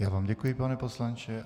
Já vám děkuji, pane poslanče.